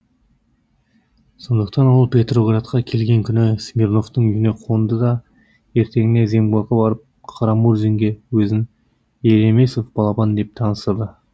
сондықтан ол петроградқа келген күні смирновтың үйіне қонды да ертеңіне земгорға барып қарамұрзинге өзін елемесов балапан деп таныстырды